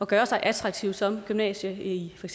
gøre sig attraktiv som gymnasie i for